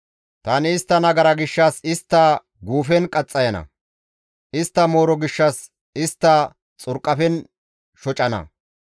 tani istta nagara gishshas istta guufen qaxxayana; istta mooro gishshas istta xurqafen shocana.